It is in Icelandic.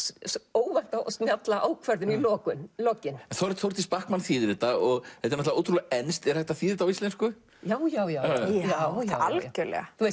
óvænta og snjalla ákvörðun í lokin lokin Þórdís Bachmann þýðir þetta og þetta er ótrúlega enskt er hægt að þýða þetta á íslensku já já já já já algjörlega